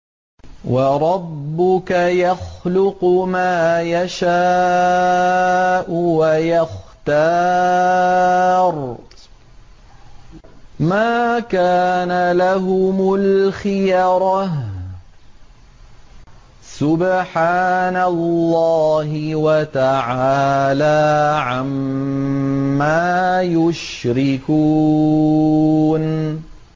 وَرَبُّكَ يَخْلُقُ مَا يَشَاءُ وَيَخْتَارُ ۗ مَا كَانَ لَهُمُ الْخِيَرَةُ ۚ سُبْحَانَ اللَّهِ وَتَعَالَىٰ عَمَّا يُشْرِكُونَ